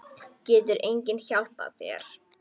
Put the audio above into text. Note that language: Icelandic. Getur enginn hjálpað þér?